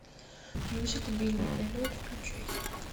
мюзикл билли эллиот включай